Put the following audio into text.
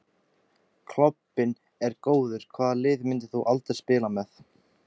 Klobbinn er góður Hvaða liði myndir þú aldrei spila með?